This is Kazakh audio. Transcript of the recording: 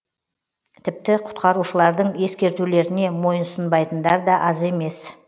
тіпті құтқарушылардың ескертулеріне мойынсұнбайтындар да аз емес